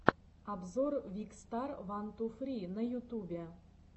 обзор викстар ван ту фри на ютубе